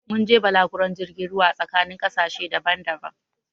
Mun yi balaguron jirgin ruwa a tsakanin ƙasashe daban-daban